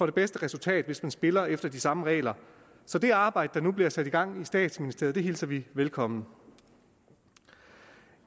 det bedste resultat hvis man spiller efter de samme regler så det arbejde der nu bliver sat i gang i statsministeriet hilser vi velkommen